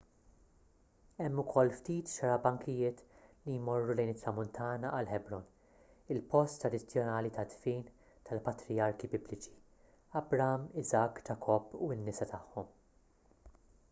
hemm ukoll ftit xarabankijiet li jmorru lejn it-tramuntana għal ħebron il-post tradizzjonali tad-dfin tal-patrijarki bibliċi abraham isakk ġakobb u n-nisa tagħhom